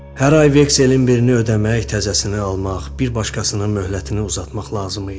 Hər ay vekselin birini ödəmək, təzəsini almaq, bir başqasının möhlətini uzatmaq lazım idi.